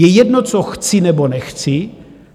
Je jedno, co chci nebo nechci.